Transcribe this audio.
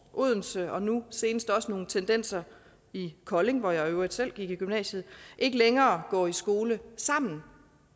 og odense og nu senest også nogle tendenser i kolding hvor jeg i øvrigt selv gik i gymnasiet ikke længere går i skole sammen